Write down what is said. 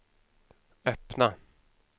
öppna